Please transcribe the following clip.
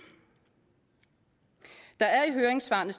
der er i høringssvarene